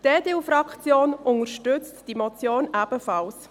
Die EDU-Fraktion unterstützt die Motion ebenfalls.